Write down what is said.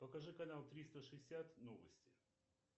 покажи канал триста шестьдесят новости